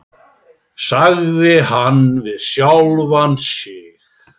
sagði hann við sjálfan sig.